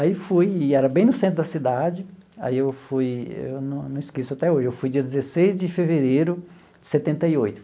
Aí fui, e era bem no centro da cidade, aí eu fui, eu não não esqueço até hoje, eu fui dia dezesseis de fevereiro de setenta e oito.